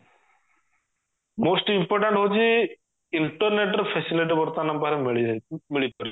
most important ହଉଛି internet ର facility ବର୍ତମାନ ଆମ ପାଖରେ ମିଳିଯାଇଛି ମିଳିପାରିଛି